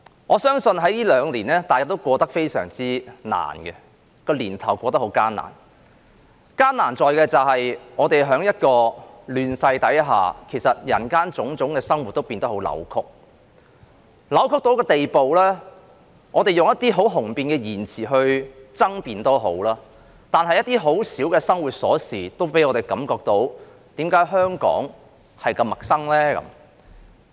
我相信這兩個年頭大家都過得十分艱難；艱難在於，我們在亂世下，其實人間種種的生活也變得很扭曲，扭曲到一個地步，即使我們以一些很雄辯的言詞來爭辯，一些很小的生活瑣事也令我們感到，為何香港那麼陌生？